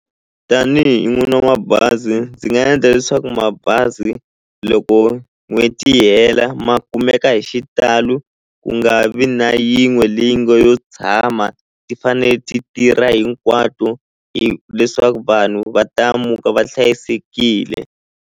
Tanihi n'wini wa mabazi ndzi nga endla leswaku mabazi loko n'hweti yi hela ma kumeka hi xitalo ku nga vi na yin'we leyi nge yo tshama ti fane ti tirha hinkwato leswaku vanhu va ta muka va hlayisekile.